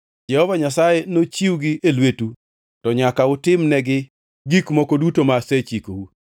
Jehova Nyasaye nochiwgi e lwetu to nyaka utimnegi gik moko duto ma asechikou.